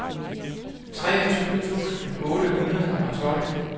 treogtyve tusind otte hundrede og tolv